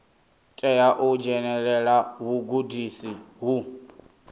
tea u dzhenelela vhugudisi ho